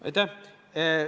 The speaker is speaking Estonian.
Aitäh!